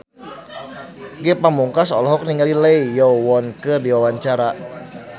Ge Pamungkas olohok ningali Lee Yo Won keur diwawancara